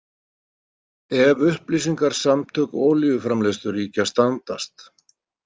Ef upplýsingar Samtök olíuframleiðsluríkja standast.